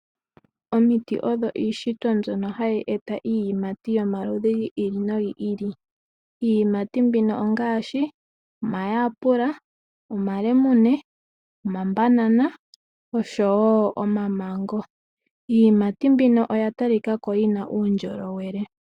Omiti odho iishitwa mbyoka hayi eta iiyimati yolamudhi gayooloka, iiyimati mbino ongaashi omayapula, omalemume, omabanana oshowo omamango. Iiyimati mbino oyatalikako yina uundjolowele.